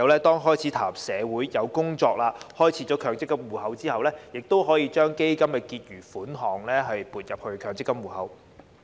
當孩子踏入社會工作，並開設強積金戶口後，基金結餘款項便可撥入強積金戶口。